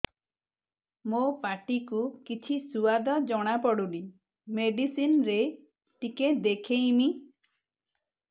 ମୋ ପାଟି କୁ କିଛି ସୁଆଦ ଜଣାପଡ଼ୁନି ମେଡିସିନ ରେ ଟିକେ ଦେଖେଇମି